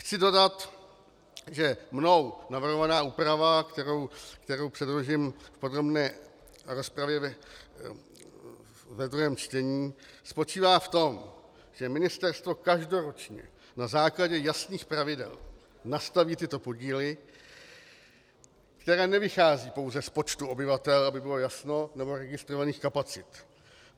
Chci dodat, že mnou navrhovaná úprava, kterou předložím v podrobné rozpravě ve druhém čtení, spočívá v tom, že ministerstvo každoročně na základě jasných pravidel nastaví tyto podíly, které nevycházejí pouze z počtu obyvatel, aby bylo jasno, nebo registrovaných kapacit.